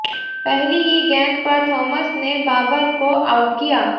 पहली ही गेंद पर थॉमस ने बाबर को आउट किया